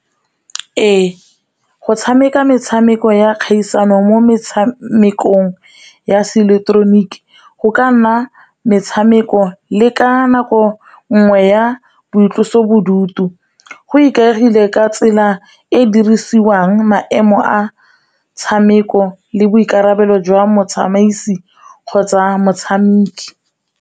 Ee go tshameka metshameko ya kgaisano mo metshamekong ya se ileketeroniki go ka nna metshameko le ka nako ngwe ya boitlosobodutu, go ikaegile ka tsela e e dirisiwang maemo a tshameko le boikarabelo jwa motsamaisi kgotsa motshameki.